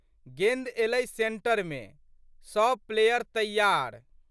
गेंद एलै सेंटरमे। सब प्लेयर तैयार।